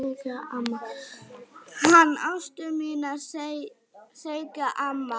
Hana Ástu mína segir amma.